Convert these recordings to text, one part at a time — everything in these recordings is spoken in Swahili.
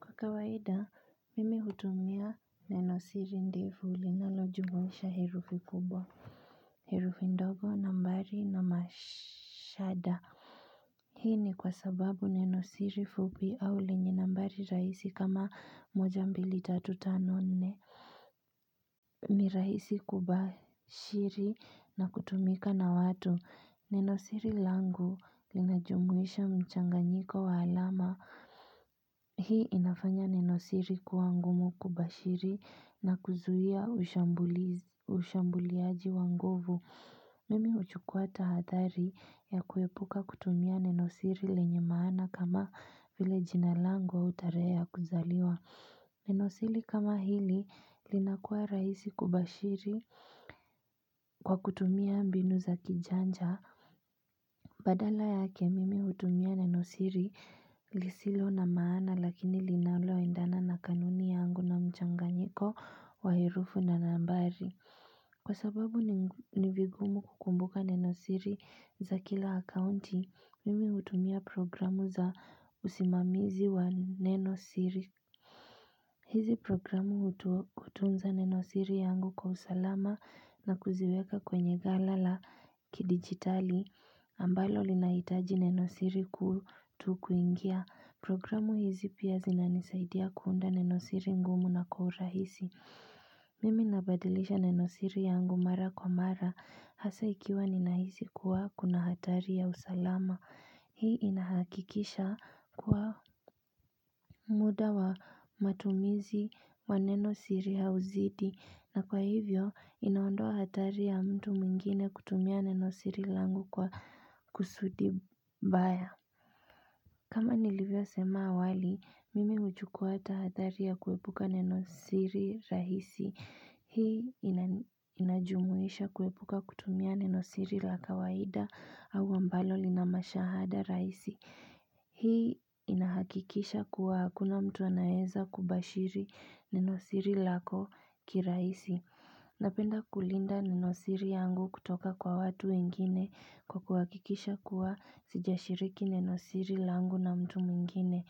Kwa kawaida mimi hutumia nenosiri ndiru ulinalojumwisha hirufi kubwa Hirufi ndogo na mbari na mashada Hii ni kwa sababu nenosiri fupi aule njina mbari raisi kama moja mbili tatu tano nne ni raisi kubashiri na kutumika na watu nenosiri langu linajumwisha mchanga nyiko wa alama Hii inafanya nenosiri kuangumu kubashiri na kuzuhia ushambuliaji wangovu Mimi uchukua tahathari ya kuepuka kutumia nenosiri lenye maana kama vile jinalango utarea kuzaliwa Nenosiri kama hili linakuwa raisi kubashiri kwa kutumia mbinu za kijanja Badala ya kemimi utumia nenosiri lisilo na maana lakini linaula waindana na kanuni yangu na mchanganyiko wahirufu na nambari. Kwa sababu nivigumu kukumbuka nenosiri za kila akounti, mimi utumia programu za usimamizi wa nenosiri. Hizi programu utunza nenosiri yangu kwa usalama na kuziweka kwenye gala la ki digitali ambalo linaitaji nenosiri kutu kuingia. Programu hizi pia zinanisaidia kuunda nenosiri ngumu na kuhurahisi. Mimi nabadilisha nenosiri yangu mara kwa mara hasa ikiwa ninaisi kuwa kuna hatari ya usalama. Hii inahakikisha kwa muda wa matumizi wanenosiri hauzidi na kwa hivyo inaondoa hatari ya mtu mwingine kutumia nenosiri langu kwa kusudi baya. Kama nilivyo sema awali, mimi ujukuata hatari ya kuepuka nenosiri rahisi. Hii inajumuisha kuwepuka kutumia nenosiri la kawaida au ambalo linamashahada raisi. Hii inahakikisha kuwa hakuna mtu anaeza kubashiri nenosiri lako kiraisi. Napenda kulinda nenosiri yangu kutoka kwa watu wengine kwa kuwakikisha kuwa sijashiriki nenosiri langu na mtu mingine.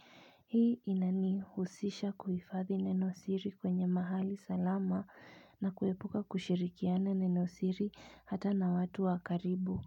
Hii inani husisha kuifathi neno siri kwenye mahali salama na kuepuka kushirikiana neno siri hata na watu wakaribu.